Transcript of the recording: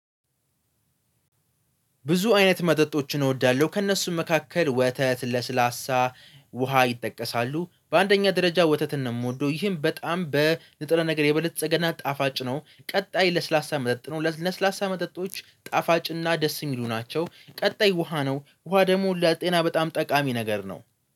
ብዙ አይነት መጠጦችን እወዳለሁ ከእነሱም መካከል ወተት ለስላሳ ውሃ ይጠቀሳሉ። በአንደኛ ደረጃ ወተትን ነው የምወደው። ይህም በጣም በንጥረ ነገር የበለፀገና ጣፋጭ ነው። ቀጣይ ለስላሳ መጠጥ ነው። ለስላሳ መጠጦች ጣፋጭ እና ደስ የሚሉ ናቸው። ቀጣይ ውሃ ነው። ውሃ ደግሞ ለጤና በጣም ጠቃሚ ነገር ነው